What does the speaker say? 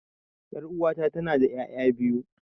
Yar'uwata tanada ƴaƴa biyu.